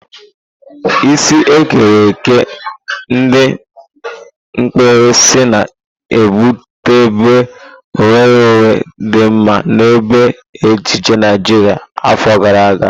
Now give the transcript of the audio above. Isi ekere eke ndi mkpirisi na-ebutebu nwere onwe di mma na ebe ejiji Naijiria afọ gara aga.